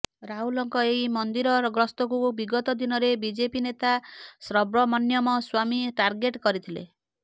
ରାହୁଲଙ୍କ ଏହି ମନ୍ଦିର ଗସ୍ତକୁ ବିଗତ ଦିନରେ ବିଜେପି ନେତା ସବ୍ରମଣ୍ୟମ ସ୍ବାମୀ ଟାର୍ଗେଟ କରିଥିଲେ